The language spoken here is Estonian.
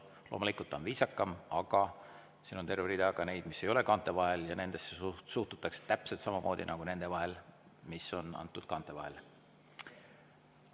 Loomulikult nii on viisakam, aga siin on terve rida ka neid, mis ei ole kaante vahel, ja nendesse suhtutakse täpselt samamoodi nagu nendesse, mis on üle antud kaante vahel.